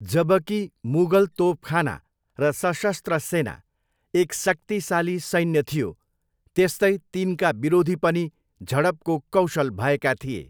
जबकि मुगल तोपखाना र सशस्त्र सेना एक शक्तिशाली सैन्य थियो, त्यस्तै तिनका विरोधी पनि झडपको कौशल भएका थिए।